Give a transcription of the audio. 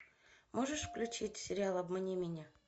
можешь включить сериал обмани меня